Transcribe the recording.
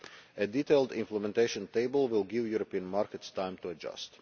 A detailed implementation table will give European markets time to adjust.